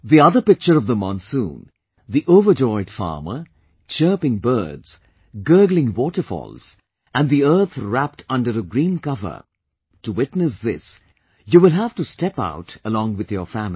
The other picture of monsoon the overjoyed farmer, chirping birds, gurgling waterfalls and earth wrapped under a green cover, to witness this you will have to step out along with your family